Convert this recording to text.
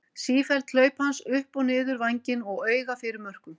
Sífelld hlaup hans upp og niður vænginn og auga fyrir mörkum.